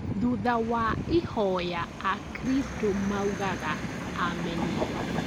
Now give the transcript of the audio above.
Thutha wa ihoya akristo maugaga Ameni